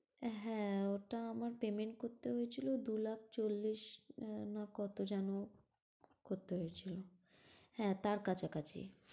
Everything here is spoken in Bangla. হ্যাঁ ওটা আমার payment করতে হয়েছিল দু' লাখ চল্লিশ আহ না কতো যেন করতে হয়েছিল, হ্যাঁ তার কাছাকাছি।